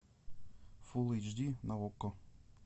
фулл эйч ди на окко